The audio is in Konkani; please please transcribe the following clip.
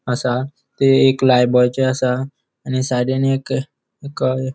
असा थय एक लायबॉयचे असा आणि साइडीन एक का --